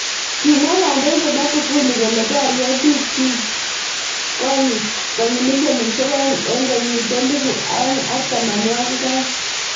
Kimwa kandoinet Magufuli kole borye bik chik konyi milionishek aeng eng kenyit elibu aeng ak tamnawakik aeng.